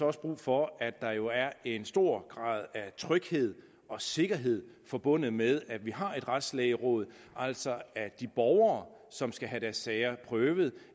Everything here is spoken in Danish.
også brug for at der jo er en stor grad af tryghed og sikkerhed forbundet med at vi har et retslægeråd altså at de borgere som skal have deres sager prøvet